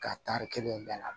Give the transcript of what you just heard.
Ka tari kelen bɛɛ la